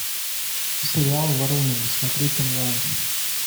сериал воронины смотреть онлайн